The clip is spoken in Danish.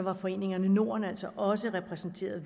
og foreningerne norden var altså også repræsenteret